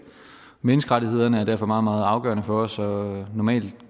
menneskerettighederne er derfor meget meget afgørende for os og normalt